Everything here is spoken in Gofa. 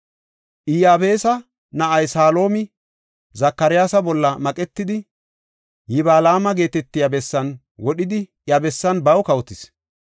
Iyabeesa na7ay Saloomi Zakaryaasa bolla maqetidi, Yiblaama geetetiya bessan wodhidi iya bessan baw kawotis.